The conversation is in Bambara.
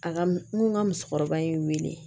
A ka m n ko n ka musokɔrɔba ye n wele